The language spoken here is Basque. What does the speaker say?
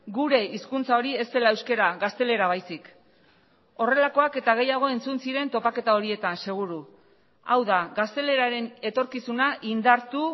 gure hizkuntza hori ez dela euskara gaztelera baizik horrelakoak eta gehiago entzun ziren topaketa horietan seguru hau da gazteleraren etorkizuna indartu